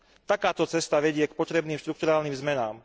Takáto cesta vedie k potrebným štrukturálnym zmenám.